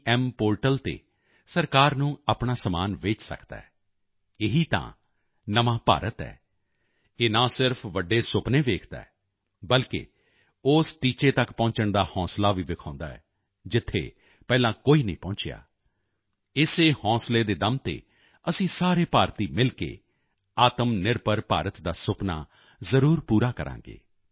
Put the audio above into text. Gem portal ਤੇ ਸਰਕਾਰ ਨੂੰ ਆਪਣਾ ਸਮਾਨ ਵੇਚ ਸਕਦਾ ਹੈ ਇਹੀ ਤਾਂ ਨਵਾਂ ਭਾਰਤ ਹੈ ਇਹ ਨਾ ਸਿਰਫ਼ ਵੱਡੇ ਸੁਪਨੇ ਦੇਖਦਾ ਹੈ ਬਲਕਿ ਉਸ ਟੀਚੇ ਤੱਕ ਪਹੁੰਚਣ ਦਾ ਹੌਸਲਾ ਵੀ ਵਿਖਾਉਂਦਾ ਹੈ ਜਿੱਥੇ ਪਹਿਲਾਂ ਕੋਈ ਨਹੀਂ ਪਹੁੰਚਿਆ ਇਸੇ ਹੌਸਲੇ ਦੇ ਦਮ ਤੇ ਅਸੀਂ ਸਾਰੇ ਭਾਰਤੀ ਮਿਲ ਕੇ ਆਤਮਨਿਰਭਰ ਭਾਰਤ ਦਾ ਸੁਪਨਾ ਜ਼ਰੂਰ ਪੂਰਾ ਕਰਾਂਗੇ